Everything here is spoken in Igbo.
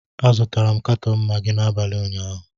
Azụtara m katọn Magị n'abalị ụnyaahụ